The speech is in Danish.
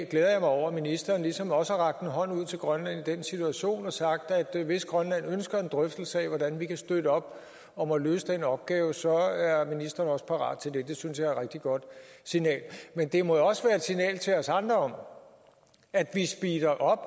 glæder mig over at ministeren ligesom også har rakt en hånd ud til grønland i den situation og sagt at hvis grønland ønsker en drøftelse af hvordan vi kan støtte op om at løse den opgave så er ministeren parat til det det synes jeg er et rigtig godt signal men det må jo også være et signal til os andre om at vi speeder op